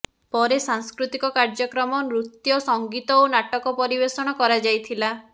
ପରେ ସାଂସ୍କୃତିକ କାର୍ଯ୍ୟକ୍ରମ ନୃତ୍ୟ ସଙ୍ଗୀତ ଓ ନାଟକ ପରିବେଷଣ କରାଯାଇଥିଲା